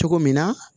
Cogo min na